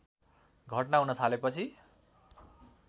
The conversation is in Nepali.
घटना हुन थालेपछि